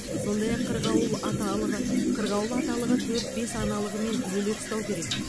сондай ақ қырғауыл аталығы қырғауыл аталығы төрт бес аналығымен бөлек ұстау керек